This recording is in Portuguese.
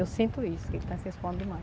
Eu sinto isso, que ele está se expondo